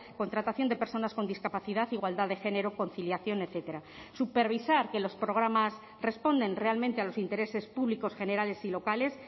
contratación de personas con discapacidad igualdad de género conciliación etcétera supervisar que los programas responden realmente a los intereses públicos generales y locales